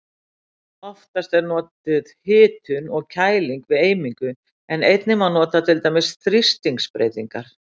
Oftast er notuð hitun og kæling við eimingu en einnig má nota til dæmis þrýstingsbreytingar.